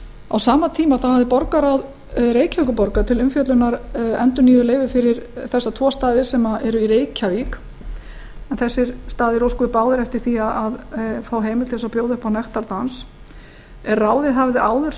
á sama tíma hafði borgarráð reykjavíkurborgar til umfjöllunar endurnýjuð leyfi fyrir þessa tvo staði sem eru í reykjavík en þessir staðir óskuðu báðir eftir að fá heimild til að bjóða upp á nektardans ráðið hafði áður